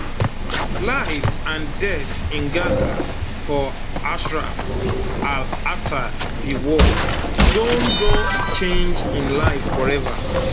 life and death in gaza for ashraf al attar di war don don change im life forever